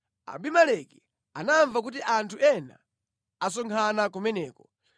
Abimeleki anamva kuti anthu ena asonkhana kumeneko.